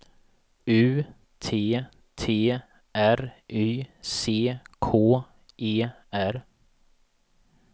U T T R Y C K E R